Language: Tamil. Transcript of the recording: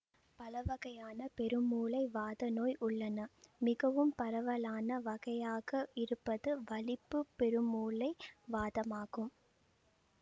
பலவகையான பெருமூளை வாத நோய் உள்ளன மிகவும் பரவலான வகையாக இருப்பது வலிப்பு பெருமூளை வாதமாகும்